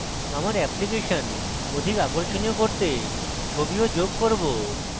আমার অ্যাপ্লিকেশন অধিক আকর্ষণীয় করতে ছবিও যোগ করব